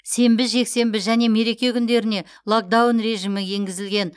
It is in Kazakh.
сенбі жексенбі және мереке күндеріне локдаун режимі енгізілген